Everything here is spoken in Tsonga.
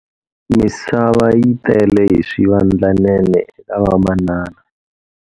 Misava yi tele hi swivandlanene eka vamanana.